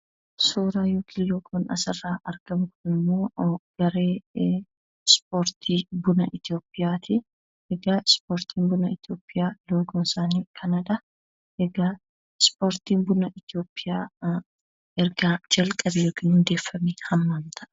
Suuraan yookiin loogoon asirraa argamu kunimmoo garee ispoortii buna Itoophiyaati, egaa ispoortiin buna Itoophiyaa loogoon isaanii kanadha. Egaa ispoortiin buna Itoophiyaa erga jalqabee yookiin hundeeffamee hammam ta'a?